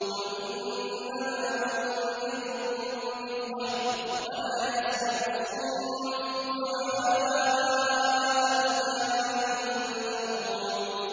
قُلْ إِنَّمَا أُنذِرُكُم بِالْوَحْيِ ۚ وَلَا يَسْمَعُ الصُّمُّ الدُّعَاءَ إِذَا مَا يُنذَرُونَ